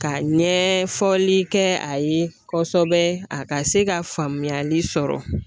Ka ɲɛfɔli kɛ a ye kɔsɛbɛ, a ka se ka faamuyali sɔrɔ